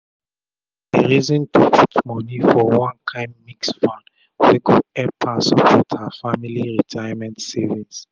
she dey reason to put moni for one kain mixed funds wey go epp her support her family retirement savings